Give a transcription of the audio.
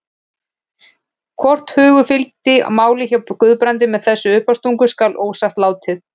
Hvort hugur fylgdi máli hjá Guðbrandi með þessari uppástungu skal ósagt látið.